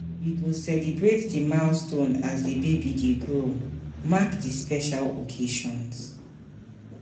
We go celebrate di milestones as di baby grow, mark di special occasions.